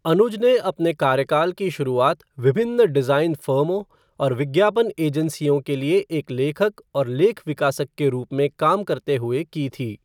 अनुज ने अपने कार्यकाल की शुरुआत विभिन्न डिज़ाइन फ़र्मों और विज्ञापन एजेंसियों के लिए एक लेखक और लेख विकासक के रूप में काम करते हुए की थी।